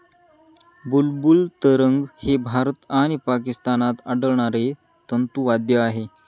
बुलबुल तरंग हे भारत आणि पाकिस्तानात आढळणारे तंतुवाद्य आहे